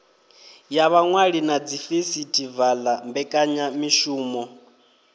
ya vhaṅwali na dzifesitivala mbekanyamishumo